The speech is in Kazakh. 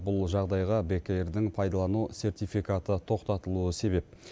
бұл жағдайға бек эйр дің пайдалану сертификаты тоқтатылуы себеп